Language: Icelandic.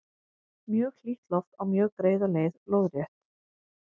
mjög hlýtt loft á mjög greiða leið lóðrétt